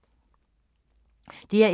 DR1